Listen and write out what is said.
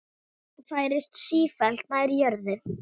Færist sífellt nær jörðu.